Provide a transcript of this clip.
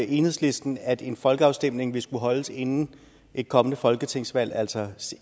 enhedslisten at en folkeafstemning vil skulle holdes inden et kommende folketingsvalg altså